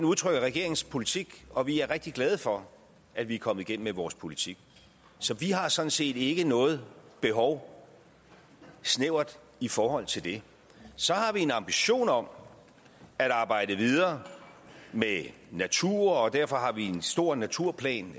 udtrykker regeringens politik og vi er rigtig glade for at vi er kommet igennem med vores politik så vi har sådan set ikke noget behov i forhold til det så har vi en ambition om at arbejde videre med natur og derfor har vi en stor naturplan